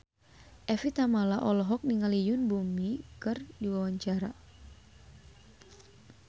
Evie Tamala olohok ningali Yoon Bomi keur diwawancara